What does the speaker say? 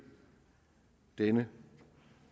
denne